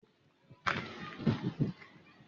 Olórí ẹ̀ka ẹ̀kọ́ wa ga.